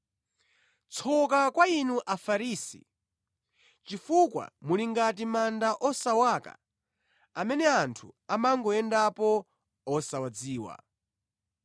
“Tsoka kwa inu Afarisi, chifukwa muli ngati manda osawaka, amene anthu amangoyendapo, osawadziwa.”